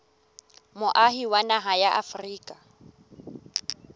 moahi wa naha ya afrika